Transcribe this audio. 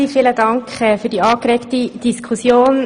Vielen Dank für die angeregte Diskussion.